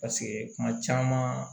Paseke kuma caman